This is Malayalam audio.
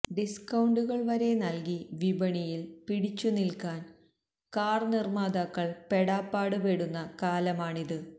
ഡിസ്കൊണ്ടുകള് വരെ നല്കി വിപണിയില് പിടിച്ചു നില്ക്കാന് കാര് നിര്മാതാക്കള് പെടാപ്പാട് പെടുന്ന കാലമാണിത്